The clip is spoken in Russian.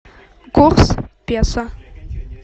курс песо